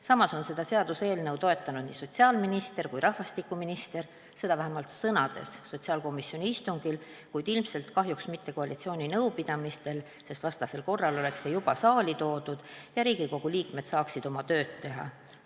Samas on seda seaduseelnõu toetanud nii sotsiaalminister kui ka rahvastikuminister, seda vähemalt sõnades sotsiaalkomisjoni istungil, kuid ilmselt kahjuks mitte koalitsiooni nõupidamistel, sest vastasel korral oleks see juba saali toodud ja Riigikogu liikmed saaksid oma tööd teha.